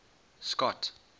scott